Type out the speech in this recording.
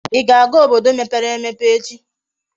Íga aga obodo mepere emepe echi?